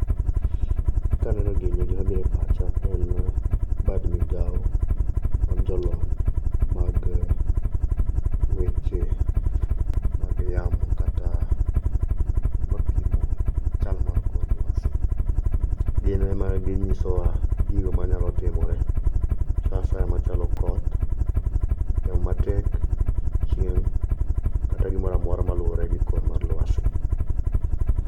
kaneno gini gimabire pacha en bad migao mar jolony mag weche mag yamo kata jomapimo chal mar kor lwasi gin emaginyiso wa gigo manyalo timore saasaya machalo koth yamo matek chieng kata gimoramora maluwore gi kor mar lwasi